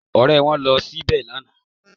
Ọ̀rẹ́ wọn ló ṣe bẹ́ẹ̀ lánàá